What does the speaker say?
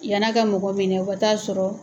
Yanna ka mɔgɔ minɛ o ka t'a sɔrɔ.